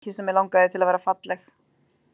Mikið sem mig langaði til að vera falleg.